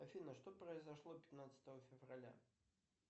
афина что произошло пятнадцатого февраля